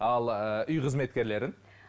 ал ыыы үй қызметкерлерін